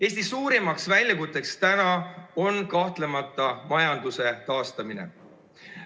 Eesti suurim väljakutse on kahtlemata majanduse taastamine.